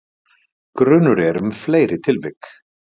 Grunur er um fleiri tilvik